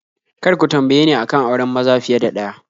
Kar ku tambaye ni a kan auren maza fiye da ɗaya